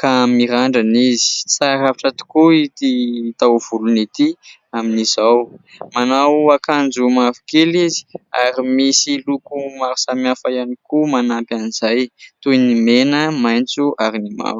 ka mirandrana izy, tsara rafitra tokoa ity taovolony ity amin'izao. Manao akanjo mavokely izy ary misy loko maro samihafa ihany koa manampy an'izay toy ny mena, maitso ary ny mavo.